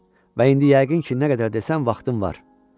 Və indi yəqin ki, nə qədər desən vaxtım var.